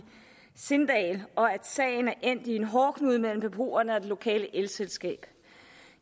sindal og at sagen er endt i en hårdknude mellem beboerne og det lokale elselskab